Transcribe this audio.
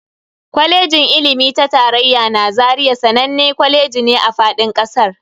Kwalejin ilimi ta tarayya na Zaria sananne kwaleji ne a fadin kasar.